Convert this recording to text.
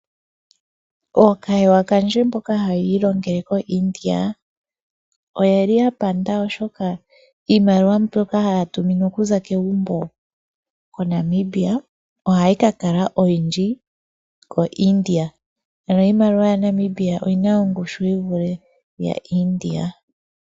Ookahewa kandje mboka haya ilongele koIndia oye li ya panda, oshoka iimaliwa mbyoka haya tuminwa okuza kegumbo koNamibia ohayi ka kala oyindji koIndia. Ano iimaliwa yaNamibia oyi na ongushu yi vule iimaliwa yaIndia.